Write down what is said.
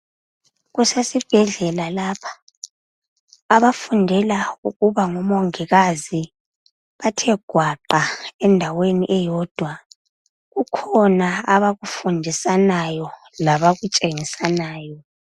Kusesibhedlela lapha abafundela ukuba ngomongikazi bathe gwaqa endaweni eyodwa kukhona abakufundisanayo labakutshengisanayo.